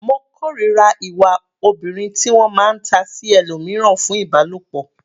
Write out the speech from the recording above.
Mo kòrira ìwà obìnrin ti wọ́n máa ta sí ẹlòmíràn fún Ìbálòpọ̀.